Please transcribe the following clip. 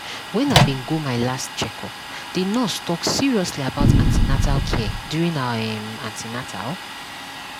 when i bin go my last checkup the nurse talk seriously about an ten atal care during our um an ten atal